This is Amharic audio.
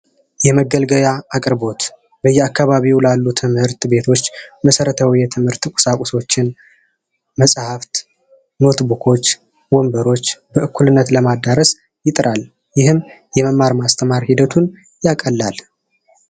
የመገልገያ አቅርቦ በየአካባቢው ላሉ ትምህርት ቤቶች መሰረታዊ የትምህርት ቁሳቁሶችን መፅሀፍ ፣ኖት ቡኮች፣ ወንበሮች በእኩልነት ለማዳረስ ይጥራል ይህም የመማር ማስተማር ሂደቱን ያቀላል።